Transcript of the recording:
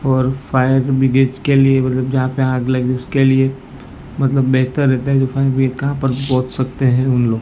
और fire brigade के लिए मतलब जहां पे आग लगी उसके लिए मतलब बेहतर रहते हैं जो फायर ब्रिगेड कहां पहुंच सकते हैं उन लोग--